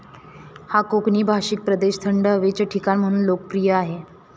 हा कोकनी भाषिक प्रदेश थंड हवेचे ठिकाण म्हणून लोकप्रिय आहे.